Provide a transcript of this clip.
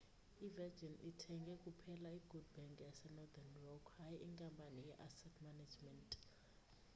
i-virgin ithenge kuphela i'good bank' yasenorthern rock hayi inkampani ye-asset management